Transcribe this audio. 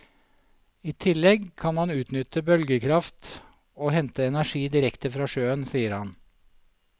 I tillegg kan man utnytte bølgekraft og hente energi direkte fra sjøen, sier han.